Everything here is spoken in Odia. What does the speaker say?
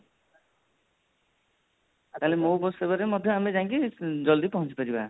ମୋ bus ସେବାରେ ମଧ୍ୟ ଆମେ ଯାଇକି ଜଲଦି ପହଞ୍ଚିପାରିବା